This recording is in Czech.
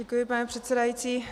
Děkuji, pane předsedající.